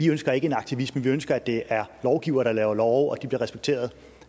ønsker en aktivisme vi ønsker at det er lovgivere der laver love og at de bliver respekteret